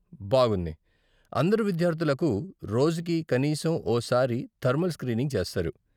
బాగుంది! అందరు విద్యార్థులకు రోజుకి కనీసం ఓ సారి థర్మల్ స్క్రీనింగ్ చేస్తారు.